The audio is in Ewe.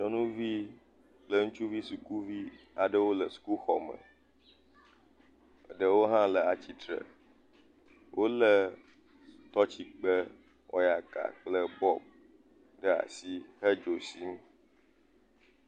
Nyɔnuvi kple ŋutsuvi sukuvi aɖewo le sukuxɔ me ɖewo ha le atitre wole tɔtsikpe wɔyaka kple bɔb ɖe asi hedzo sim